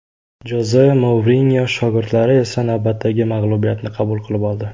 Joze Mourinyo shogirdlari esa navbatdagi mag‘lubiyatni qabul qilib oldi.